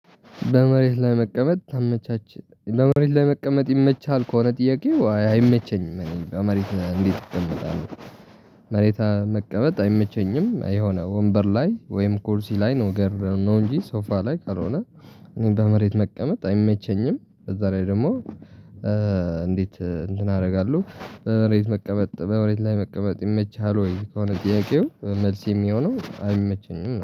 በመሬት ላይ መቀመጥ ተመቻች። በመሬት ላይ መቀመጥ ይመቻል ከሆነ ጥያቄ አይመቸኝም እኔ በመሬት እንዴት እቀመጣለሁ መሬት መቀመጥ አይመቸኝም። የሆነ ወንበር ላይ ወይም ኩርሲ ላይ ነው ገረር ነው እንጂ ሶፋ ላይ ካልሆነ እኔ በመሬት መቀመጥ አይመቸኝም። ከዛ ላይ ደግሞ እንዴት እንትን አደርጋለሁ። በመሬት መቀመጥ በበሬት ላይ መቀመጥ ይመችሃል ወይ? ከሆነ ጥያቄው መልስ የሚሆነው አይመቸኝም